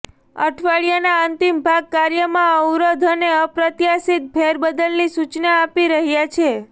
અઠવાડિયાના અંતિમ ભાગ કાર્યમાં અવરોધ અનેઅપ્રત્યાશિત ફેરબદલની સૂચના આપી રહ્યા છે